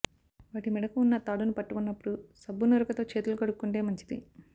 వాటి మెడకు ఉన్న తాడును పట్టుకున్నప్పుడు సబ్బునురగతో చేతులు కడుక్కుంటే మంచిది